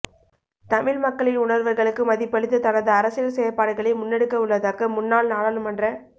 தமிழ் மக்களின் உணா்வுகளுக்கு மதிப்பளித்து தனது அரசியல் செயற்பாடுகளை முன்னெடுக்கவுள்ளதாக முன்னாள் நாடாளுமன்ற